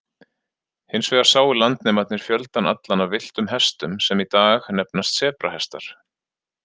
Hins vegar sáu landnemarnir fjöldann allan af villtum hestum, sem í dag nefnast sebrahestar.